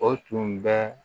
O tun bɛ